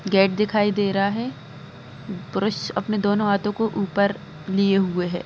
Gate दिखाई दे रहा है पुरुष अपने दोनों हाथों को ऊपर लिए हुए है।